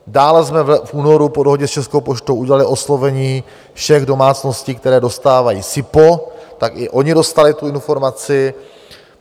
Dále jsme v únoru po dohodě s Českou poštou udělali oslovení všech domácností, které dostávají SIPO, tak i oni dostali tu informaci.